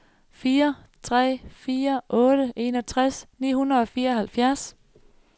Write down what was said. fire tre fire otte enogtres ni hundrede og fireoghalvfjerds